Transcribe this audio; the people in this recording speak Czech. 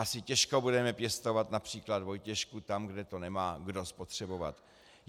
Asi těžko budeme pěstovat například vojtěšku tam, kde to nemá kdo spotřebovat.